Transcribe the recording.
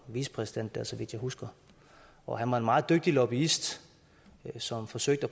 vicepræsident der så vidt jeg husker og han var en meget dygtig lobbyist som forsøgte